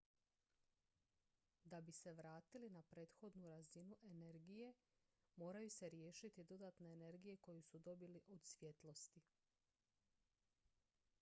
da bi se vratili na prethodnu razinu energije moraju se riješiti dodatne energije koju su dobili od svjetlosti